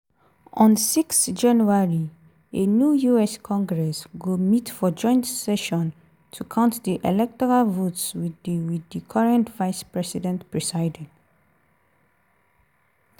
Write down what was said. on 6 january a new us congress go meet for joint session to count di electoral votes wit di wit di current vice-president presiding.